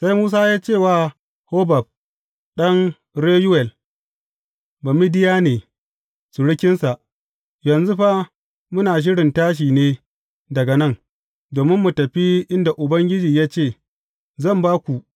Sai Musa ya ce wa Hobab ɗan Reyuwel Bamidiyane surukinsa, Yanzu fa, muna shirin tashi ne daga nan, domin mu tafi inda Ubangiji ya ce, Zan ba ku.’